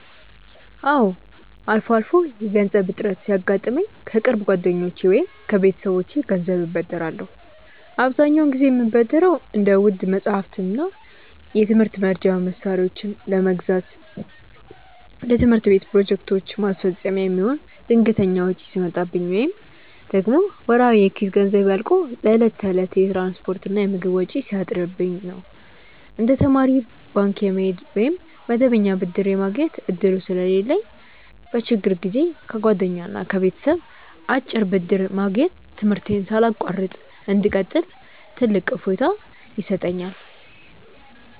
አዎ፣ አልፎ አልፎ የገንዘብ እጥረት ሲያጋጥመኝ ከቅርብ ጓደኞቼ ወይም ከቤተሰቦቼ ገንዘብ እበደራለሁ። አብዛኛውን ጊዜ የምበደረው እንደ ውድ መጻሕፍትና የትምህርት መርጃ መሣሪያዎችን ለመግዛት፣ ለትምህርት ቤት ፕሮጀክቶች ማስፈጸሚያ የሚሆን ድንገተኛ ወጪ ሲመጣብኝ፣ ወይም ደግሞ ወርሃዊ የኪስ ገንዘቤ አልቆ ለዕለት ተዕለት የትራንስፖርትና የምግብ ወጪ ሲያጥርብኝ ነው። እንደ ተማሪ ባንክ የመሄድ ወይም መደበኛ ብድር የማግኘት ዕድሉ ስለሌለኝ፣ በችግር ጊዜ ከጓደኛና ከቤተሰብ አጭር ብድር ማግኘት ትምህርቴን ሳላቋርጥ እንድቀጥል ትልቅ እፎይታ ይሰጠኛል።